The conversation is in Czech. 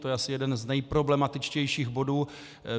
To je asi jeden z nejproblematičtějších bodů.